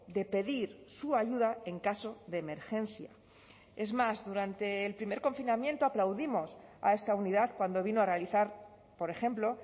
de pedir su ayuda en caso de emergencia es más durante el primer confinamiento aplaudimos a esta unidad cuando vino a realizar por ejemplo